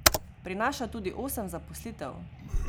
Prinaša tudi osem zaposlitev.